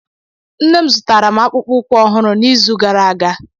nne m zụtara m akpụkpọ ụkwụ ọhụrụ n'izu gara aga